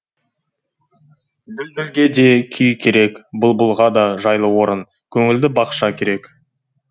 дүлдүлге де күй керек бұлбұлға да жайлы орын көңілді бақша керек